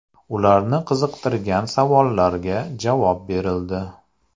Ularni qiziqtirgan savollarga javob berildi.